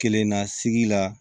Kelenna sigi la